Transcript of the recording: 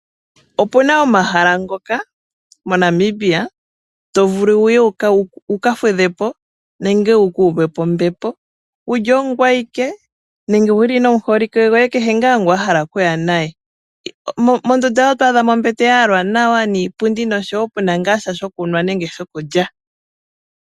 Opuna omahala ngoka moNamibia to vulu wuye wuka fudhepo nenge wuka uvepo ombepo wuli ongwee ike nenge wuli nomuholike goye, kehe ngaa ngu wa hala okuya naye. Mondunda yoye oto adhamo ombete ya yalwa nawa niipundi noshowo puna ngaa sha shokunwa nenge shokulya.